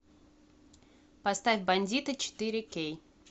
поставь бандиты четыре кей